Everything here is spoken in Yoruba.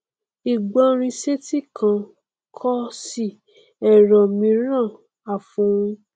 ìgbọ́rinsétí kan kọ́sì ẹrọ míìràn àfòun